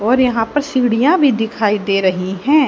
और यहां पर सीढ़ियां भी दिखाई दे रही हैं।